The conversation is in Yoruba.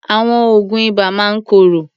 Àwọn oògùn ibà máa ń korò.